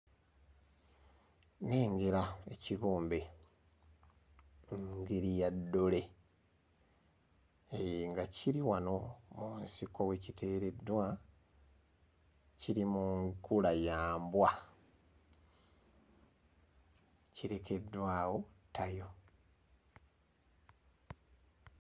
Nnengera ekibumbe ngeri ya ddole eeh nga kiri wano mu nsiko we kiteereddwa kiri mu nkula ya mbwa kirekeddwa awo ttayo.